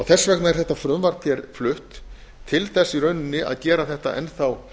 þess vegna er þetta frumvarp hér flutt til þess í rauninni að gera þetta enn þá